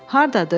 Hardadır?